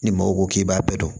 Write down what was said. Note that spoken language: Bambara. Ni mɔgɔw ko k'i b'a bɛɛ dɔn